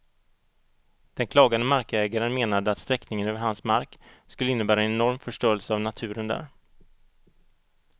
Den klagande markägaren menade att sträckningen över hans mark skulle innebära en enorm förstörelse av naturen där.